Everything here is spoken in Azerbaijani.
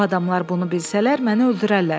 O adamlar bunu bilsələr, məni öldürərlər.